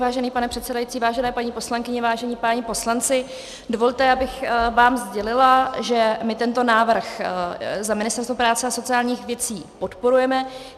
Vážený pane předsedající, vážené paní poslankyně, vážení páni poslanci, dovolte, abych vám sdělila, že my tento návrh za Ministerstvo práce a sociálních věcí podporujeme.